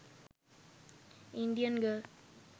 indian girl